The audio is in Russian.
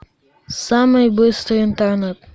самый быстрый интернет